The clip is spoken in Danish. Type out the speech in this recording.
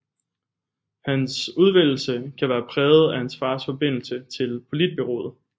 Hans udvælgelse kan være præget af hans fars forbindelse til Politbureauet